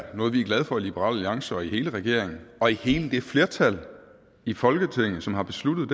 er noget vi er glade for i liberal alliance og i hele regeringen og i hele det flertal i folketinget som har besluttet